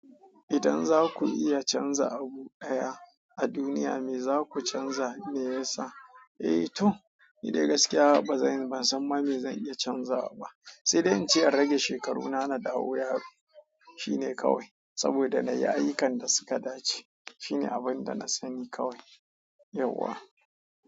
Idan za ku iya canza abu ɗaya a duniya me za ku canza me ya sa? Eh to ni dai gaskiya ba zan ban san ba me zan iya canzawa ba, sai dai in ce a rage shekaruna na dawo yaro. Shine kawai. Saboda nayi ayyukan da suka dace shine abin da na sani kawai yauwa.